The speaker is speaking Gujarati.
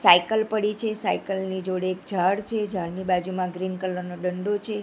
સાયકલ પડી છે સાયકલ ની જોડે એક ઝાળ છે ઝાળની બાજુમાં ગ્રીન કલર નો ડંડો છે.